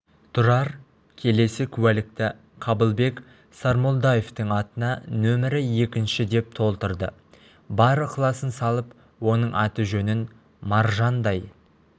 тұрар келесі куәлікті қабылбек сармолдаевтың атына нөмірі екінші деп толтырды бар ықыласын салып оның аты-жөнін маржандай